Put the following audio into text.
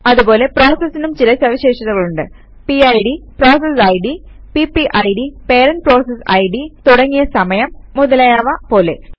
അതുപോലെ പ്രോസസസിനും ചില സവിശേഷതകളുണ്ട് പിഡ് പിപിഡ് തുടങ്ങിയ സമയം മുതലായവ പോലെ